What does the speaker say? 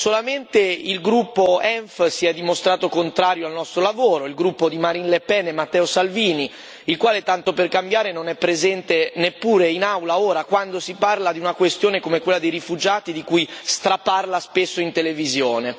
Solamente il gruppo ENF si è dimostrato contrario al nostro lavoro, il gruppo di Marine Le Pen e Matteo Salvini, il quale tanto per cambiare, non è presente neppure in Aula, ora, quando si parla di una questione come quella dei rifugiati di cui straparla spesso in televisione.